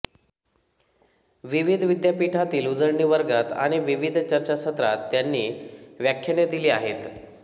विविध विद्यापीठातील उजळणी वर्गांत आणि विविध चर्चासत्रांत त्यांनी व्याख्याने दिली आहेत